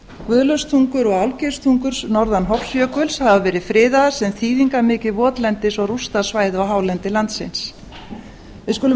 guðlaugstungur og gerðstungur norðan hofsjökuls hafa verið friðaðar sem þýðingarmikið votlendis og rústasvæði á hálendi landsins við skulum